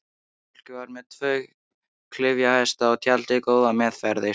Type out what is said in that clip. Fólkið var með tvo klyfjahesta og tjaldið góða meðferðis.